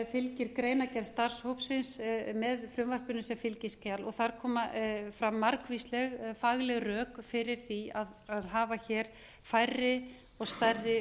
fylgir greinargerð starfshópsins með frumvarpinu sem fylgiskjal þar koma fram margvísleg fagleg rök fyrir því að hafa hér færri og stærri